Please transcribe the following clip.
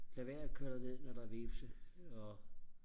lad være og køre derned når der er hvepse og